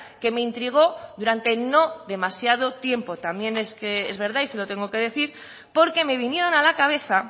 que me intrigó durante no demasiado tiempo también es verdad y se lo tengo que decir porque me vinieron a la cabeza